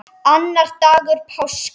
Annar dagur páska.